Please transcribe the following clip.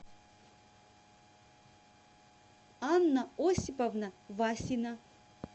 анна осиповна васина